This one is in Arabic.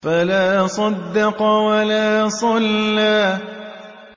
فَلَا صَدَّقَ وَلَا صَلَّىٰ